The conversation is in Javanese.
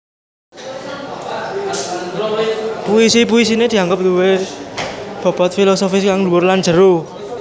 Puisi puisiné dianggep duwé bobot filosofis kang dhuwur lan jero